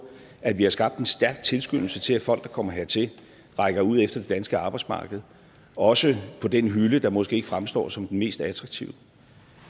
at vi har skabt en stærk tilskyndelse til at folk der kommer hertil rækker ud efter det danske arbejdsmarked også på den hylde der måske ikke fremstår som den mest attraktive